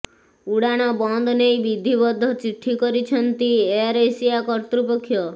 ଉଡାଣ ବନ୍ଦ ନେଇ ବିଧିବଦ୍ଧ ଚିଠି କରିଛନ୍ତି ଏୟାର ଏସିଆ କର୍ତ୍ତୃପକ୍ଷ